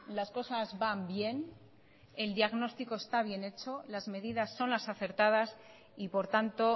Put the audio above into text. las cosas van bien el diagnóstico está bien hecho las medidas son las acertadas y por tanto